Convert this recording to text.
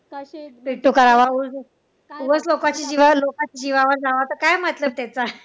करावा उगाच लोकांचे लोकांच्या जीवावर जावं तर काय त्याचा